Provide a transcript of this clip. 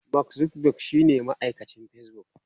Mark Zuckerberg shine mamallakin Facebook.